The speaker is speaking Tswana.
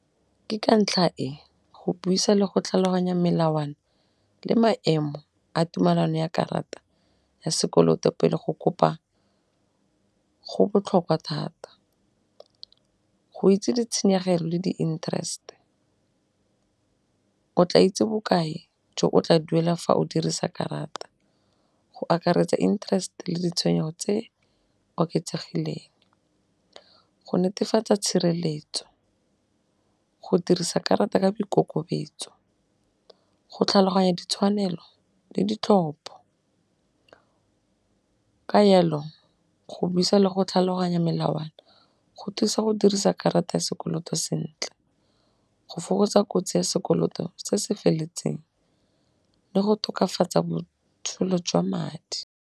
Ke ka ntlha e go buisa le go tlhaloganya melawana le maemo a tumalano ya karata ya sekoloto pele go kopa go botlhokwa thata. Go itse ditshenyegelo le di-interest o tla itse bokae jo o tla duela fa o dirisa karata go akaretsa intereste le ditshwenyego tse oketsegileng. Go netefatsa tshireletso, go dirisa karata ka boikokobetso, go tlhaloganya ditshwanelo le ditlhopho ka jalo go buisa le go tlhaloganya melawana go thusa go dirisa karata ya sekoloto sentle. Go fokotsa kotsi ya sekoloto se se feletseng le go tokafatsa botsholo jwa madi.